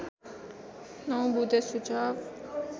९ बुँदे सुझाव